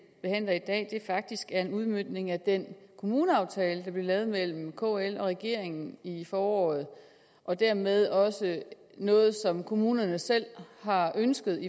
behandler i dag faktisk er en udmøntning af den kommuneaftale der blev lavet mellem kl og regeringen i foråret og dermed også noget som kommunerne selv har ønsket